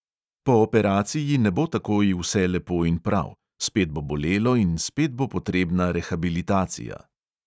Po operaciji ne bo takoj vse lepo in prav: spet bo bolelo in spet bo potrebna rehabilitacija.